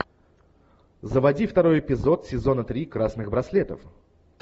заводи второй эпизод сезона три красных браслетов